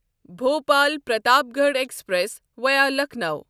Bhopal Pratapgarh express via Lucknow